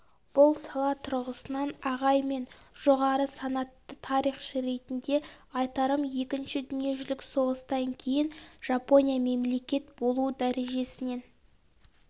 бұл сала тұрғысынан ағай мен жоғары санатты тарихшы ретінде айтарым екінші дүниежүзілік соғыстан кейін жапония мемлекет болу дәрежесінен